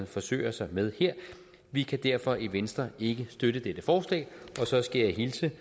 forsøger sig med her vi kan derfor i venstre ikke støtte dette forslag så skal jeg hilse